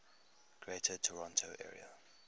greater toronto area